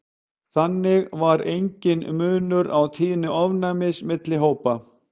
þannig var enginn munur á tíðni ofnæmis milli hópanna